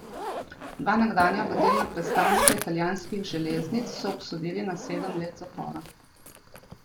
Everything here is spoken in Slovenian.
Dva nekdanja vodilna predstavnika italijanskih železnic so obsodili na sedem let zapora.